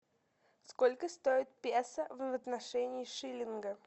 сколько стоит песо в отношении шиллинга